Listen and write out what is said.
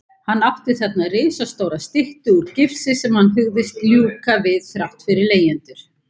Hann átti þarna risastóra styttu úr gifsi sem hann hugðist ljúka við þrátt fyrir leigjendur.